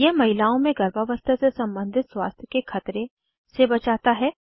यह महिलाओं में गर्भावस्था से संबंधित स्वास्थ्य के खतरे से बचाता है